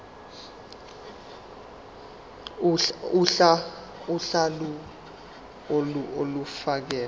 uhla lawo olufakelwe